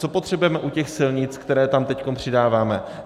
Co potřebujeme u těch silnic, které tam teď přidáváme?